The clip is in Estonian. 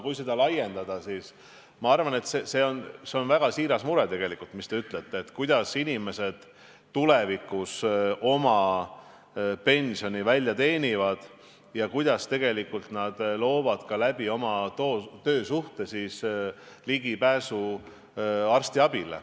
Kui seda laiendada, siis ma arvan, et see on tegelikult väga siiras mure, kui te küsite, kuidas inimesed oma pensioni välja teenivad ja kuidas nad tagavad oma töösuhte kaudu ligipääsu arstiabile.